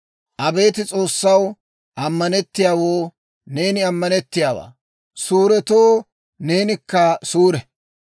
Abeet S'oossaw, ammanettiyaawanttoo neeni ammanettiyaawaa; suuretoo neenikka suure.